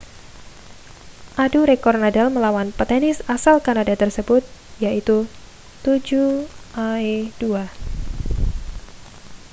adu rekor nadal melawan petenis asal kanada tersebut yaitu 7â€ 2